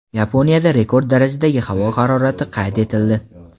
Yaponiyada rekord darajadagi havo harorati qayd etildi.